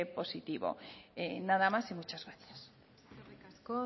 positivo nada más y muchas gracias eskerrik asko